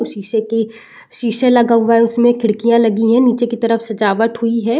शीशे की शीशे लगा हुआ है उसमें। खिड़कियां लगी हैं। नीचे की तरफ सजावट हुई है।